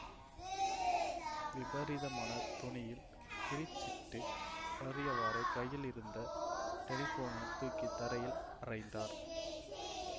விபரீதமான தொனியில் கிறீச்சிட்டு அலறியவாறே கையிலிருந்த டெலிபோனைத் தூக்கி தரையில் அறைந்தார்